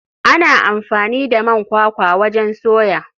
Ana amfani da man kwakwa wajen soya.